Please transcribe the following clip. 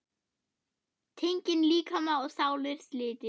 Tenging líkama og sálar slitin.